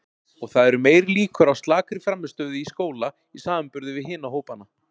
Og það eru meiri líkur á slakri frammistöðu í skóla í samanburði við hina hópana.